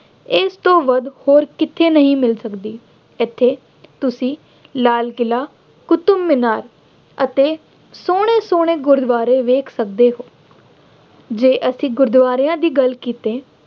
ਇਸ ਤੋਂ ਵੱਧ ਹੋਰ ਕਿਤੇ ਨਹੀਂ ਮਿਲ ਸਕਦੀ। ਇੱਥੇ ਤੁਸੀਂ ਲਾਲ ਕਿਲਾ, ਕੁਤਬ ਮਿਨਾਰ ਅਤੇ ਸੋਹਣੇ ਸੋਹਣੇ ਗੁਰਦੁਆਰੇ ਵੇਖ ਸਕਦੇ ਹੋ। ਜੇ ਅਸੀ ਗੁਰਦੁਆਰਿਆਂ ਦੀ ਗੱਲ ਕੀਤੇ